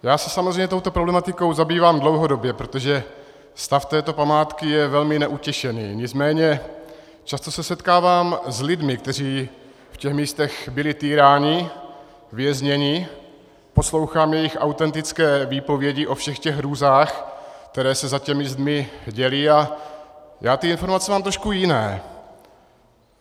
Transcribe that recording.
Já se samozřejmě touto problematikou zabývám dlouhodobě, protože stav této památky je velmi neutěšený, nicméně často se setkávám s lidmi, kteří v těch místech byli týráni, vězněni, poslouchám jejich autentické výpovědi o všech těch hrůzách, které se za těmi zdmi děly, a já ty informace mám trošku jiné.